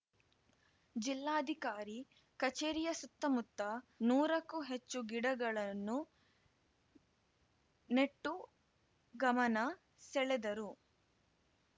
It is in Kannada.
ಜಿಲ್ಲಾಧಿಕಾರಿ ಕಚೇರಿಯ ಸುತ್ತಮುತ್ತ ನೂರಕ್ಕೂ ಹೆಚ್ಚು ಗಿಡಗಳನ್ನು ನೆಟ್ಟು ಗಮನ ಸೆಳೆದರು